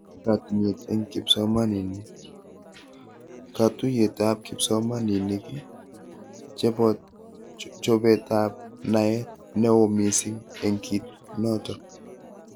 Katinyet eng kipsomanink:Katuyetab kipsiomanink, chobetab naet nao mising eng kit noto